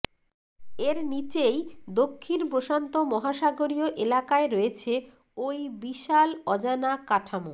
এর নীচেই দক্ষিণ প্রশান্ত মহাসাগরীয় এলাকায় রয়েছে ওই বিশাল অজানা কাঠামো